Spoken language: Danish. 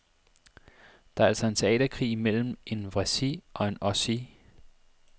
Det er altså en teaterkrig mellem en wessie og en ossie.